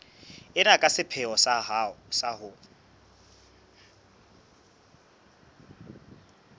ena ka sepheo sa ho